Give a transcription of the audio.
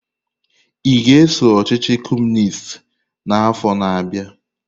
Ị ga-eso ọchịchị Kọmunist n'afọ na-abịa?